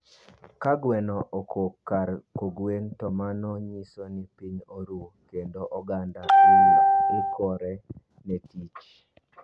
Ka gweno okok kar kogwen to mano nyiso no piny oru kendo oganda ikore ne tich